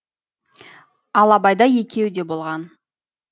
ал абайда екеуі де болған